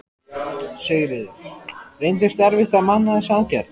Sigríður: Reyndist erfitt að manna þessa aðgerð?